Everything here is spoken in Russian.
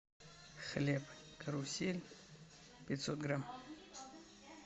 хлеб карусель пятьсот грамм